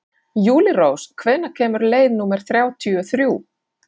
Júlírós, hvenær kemur leið númer þrjátíu og þrjú?